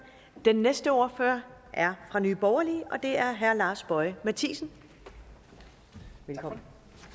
den næste ordfører er fra nye borgerlige og det er herre lars boje mathiesen velkommen